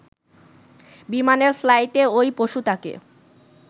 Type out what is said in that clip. বিমানের ফ্লাইটে ওই পশুটাকে